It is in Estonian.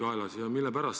Ja mille pärast?